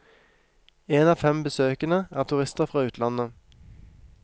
En av fem besøkende er turister fra utlandet.